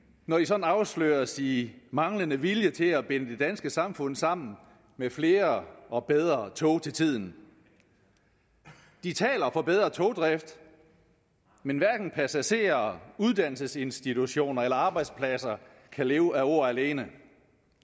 når de sådan afsløres i manglende vilje til at binde det danske samfund sammen med flere og bedre tog til tiden de taler for bedre togdrift men hverken passagerer uddannelsesinstitutioner eller arbejdspladser kan leve af ord alene